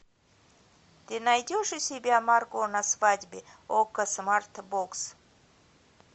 ты найдешь у себя марго на свадьбе окко смарт бокс